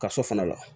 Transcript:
Kaso fana la